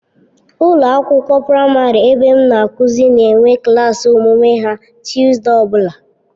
Ụlọ akwụkwọ praịmarị ebe m na-akụzi na-enwe klaasị omume ha Tọzdee ọbụla.